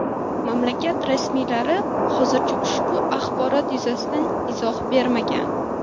Mamlakat rasmiylari hozircha ushbu axborot yuzasidan izoh bermagan.